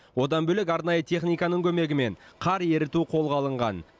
одан бөлек арнайы техниканың көмегімен қар еріту қолға алынған